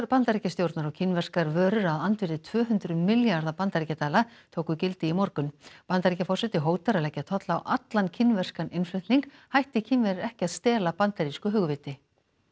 Bandaríkjastjórnar á kínverskar vörur að andvirði tvö hundruð milljarða bandaríkjadala tóku gildi í morgun Bandaríkjaforseti hótar að leggja tolla á allan kínverskan innflutning hætti Kínverjar ekki að stela bandarísku hugviti